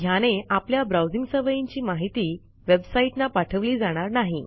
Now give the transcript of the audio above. ह्याने आपल्या ब्राऊजिंग सवयींची माहिती वेबसाईटना पाठवली जाणार नाही